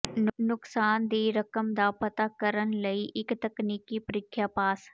ਨੁਕਸਾਨ ਦੀ ਰਕਮ ਦਾ ਪਤਾ ਕਰਨ ਲਈ ਇੱਕ ਤਕਨੀਕੀ ਪ੍ਰੀਖਿਆ ਪਾਸ